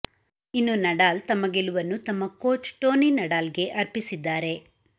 ಇನ್ನು ನಡಾಲ್ ತಮ್ಮ ಗೆಲುವನ್ನು ತಮ್ಮ ಕೋಚ್ ಟೋನಿ ನಡಾಲ್ಗೆ ಅರ್ಪಿಸಿದ್ದಾರೆ